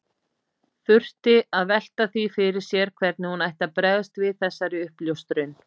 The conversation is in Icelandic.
Þurfti að velta því fyrir sér hvernig hún ætti að bregðast við þessari uppljóstrun.